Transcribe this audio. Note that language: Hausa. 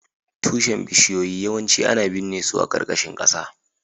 Tushen bishiyoyi yawanci ana binne su a ƙarƙashin ƙasa